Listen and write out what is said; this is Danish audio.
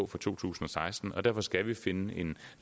for to tusind og seksten på derfor skal vi finde en